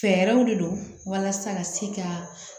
Fɛɛrɛw de don walasa ka se ka